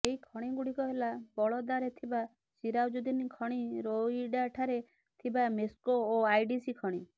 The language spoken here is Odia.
ଏହି ଖଣିଗୁଡିକ ହେଲା ବଳଦାରେ ଥିବା ସିରାଜୁଦ୍ଦିନ୍ ଖଣି ରୋଇଡାଠାରେ ଥିବା ମେସ୍କୋ ଓ ଆଇଡିସି ଖଣି